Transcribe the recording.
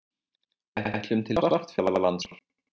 Við ætlum til Svartfjallalands næsta sumar.